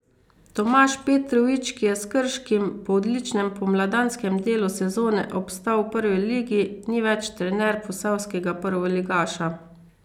Tomaž Petrovič, ki je s Krškim po odličnem pomladanskem delu sezone obstal v Prvi ligi, ni več trener posavskega prvoligaša.